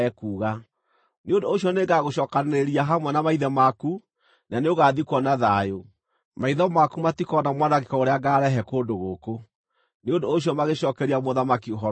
Nĩ ũndũ ũcio nĩngagũcookanĩrĩria hamwe na maithe maku, na nĩũgathikwo na thayũ. Maitho maku matikoona mwanangĩko ũrĩa ngaarehe kũndũ gũkũ.’ ” Nĩ ũndũ ũcio magĩcookeria mũthamaki ũhoro ũcio.